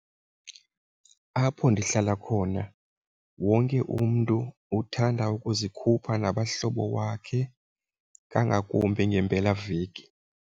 Apho ndihlala khona wonke umntu uthanda ukuzikhupha nabahlobo wakhe kangakumbi ngempelaveki.